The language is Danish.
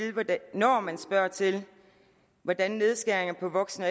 når man spørger til hvordan nedskæringer på voksen og